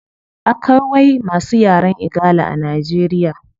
Akawai masu yaren igala a nigeria